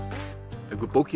haukur bókin